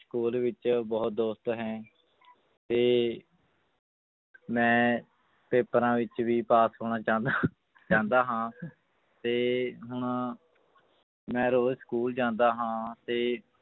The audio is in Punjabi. School ਵਿੱਚ ਬਹੁਤ ਦੋਸਤ ਹੈ ਤੇ ਮੈਂ ਪੇਪਰਾਂ ਵਿੱਚ ਵੀ ਪਾਸ ਹੋਣਾ ਚਾਹੁੰਦਾ ਚਾਹੁੰਦਾ ਹਾਂ ਤੇ ਹੁਣ ਮੈਂ ਰੋਜ਼ school ਜਾਂਦਾ ਹਾਂ ਤੇ